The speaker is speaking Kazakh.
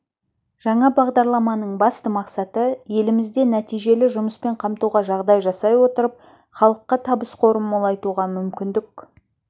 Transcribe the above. жаңа бағдарламаның басты мақсаты елімізде нәтижелі жұмыспен қамтуға жағдай жасай отырып халыққа табыс қорын молайтуға мүмкіндік